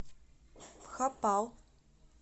бхопал